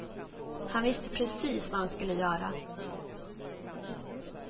Han visste precis vad han skulle göra.